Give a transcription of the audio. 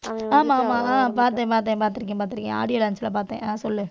ஆமா, ஆமா பார்த்தேன், பார்த்தேன், பார்த்திருக்கேன், பார்த்திருக்கேன். audio launch ல பார்த்தேன். ஆஹ் சொல்லு.